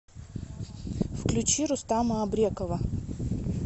включи рустама абрекова